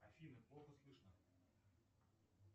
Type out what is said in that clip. афина плохо слышно